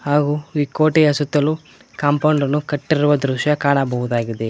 ಹಾಗು ಈ ಕೋಟೆಯ ಸುತ್ತಲು ಕಾಂಪೌಂಡ್ ಅನ್ನು ಕಟ್ಟಿರುವ ದೃಶ್ಯ ಕಾಣಬಹುದಾಗಿದೆ.